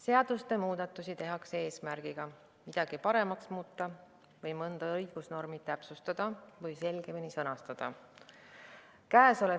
Seadusi muudetakse eesmärgiga midagi paremaks muuta või mõnda õigusnormi täpsustada või selgemini sõnastada.